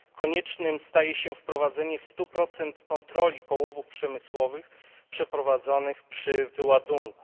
Koniecznym staje się wprowadzenie stu procent kontroli połowów przemysłowych przeprowadzanych przy wyładunku.